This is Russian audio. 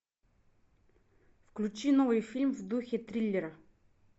включи новый фильм в духе триллера